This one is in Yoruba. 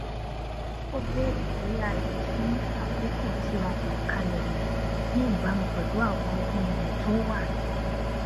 ó béèrè bóyá a lè tún àkókò tí a yàn kalẹ wò ní ìbámu pẹlú àwọn ohun èlò tó wà